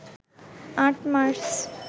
৮ March